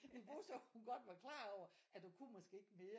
Niveau så hun godt var klar over at du kunne måske ikke mere